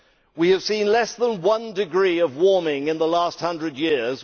We have seen less than one degree of warming in the last hundred years.